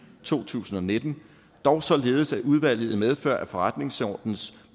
to tusind og nitten dog således at udvalget i medfør af forretningsordenens